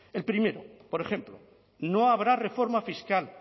el primero por ejemplo no habrá reforma fiscal